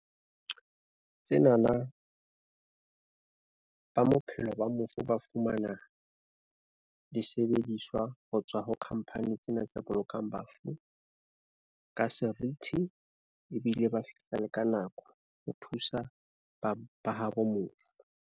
Tsenana ba bophelo ba mofu ba fumana disebediswa ho tswa ho company tsena tse bolokang bafu ka serithi ebile ba fihla ka nako ho thusa ba ba habo mofung.